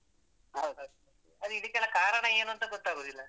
ಅದೇ ಇದಕ್ಕೆಲ್ಲ ಕಾರಣ ಏನು ಅಂತ ಗೊತ್ತಾಗುದಿಲ್ಲ.